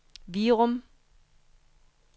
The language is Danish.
Virum